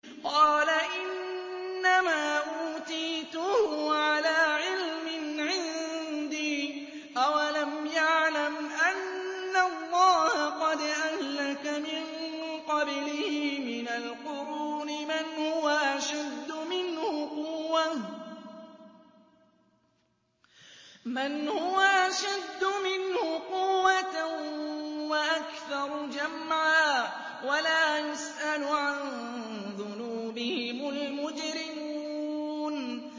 قَالَ إِنَّمَا أُوتِيتُهُ عَلَىٰ عِلْمٍ عِندِي ۚ أَوَلَمْ يَعْلَمْ أَنَّ اللَّهَ قَدْ أَهْلَكَ مِن قَبْلِهِ مِنَ الْقُرُونِ مَنْ هُوَ أَشَدُّ مِنْهُ قُوَّةً وَأَكْثَرُ جَمْعًا ۚ وَلَا يُسْأَلُ عَن ذُنُوبِهِمُ الْمُجْرِمُونَ